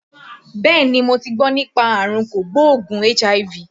Bẹ́ẹ̀ni, mo ti gbọ́ nípa àrùn kò gbóògùn HIV